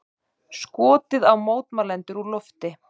Skotið á mótmælendur úr lofti